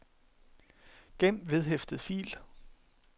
gem vedhæftet fil